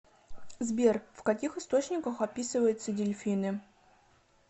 сбер в каких источниках описывается дельфины